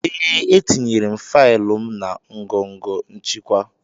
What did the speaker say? Ee, etinyere m faịlụ m na ngọngọ nchịkwa..